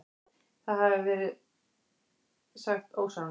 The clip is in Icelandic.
Það hafi verið sagt ósannað.